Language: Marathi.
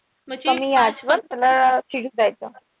कमी वर त्याला शिजू द्यायचं.